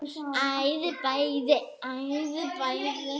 Hann gekk afsíðis og sprakk.